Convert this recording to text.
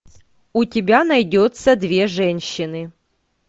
у тебя найдется две женщины